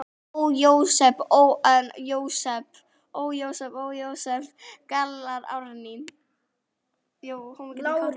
Ó, Jósep, Jósep, galar Árný.